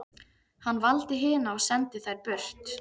Hann valdi hina og sendi þær burt.